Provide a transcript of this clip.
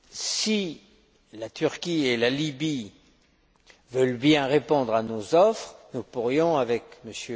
Si la Turquie et la Libye veulent bien répondre à nos offres, nous pourrions, avec